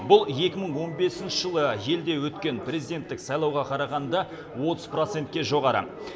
бұл екі мың он бесінші жылы елде өткен президенттік сайлауға қарағанда отыз процентке жоғары